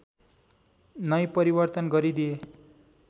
नै परिवर्तन गरिदिए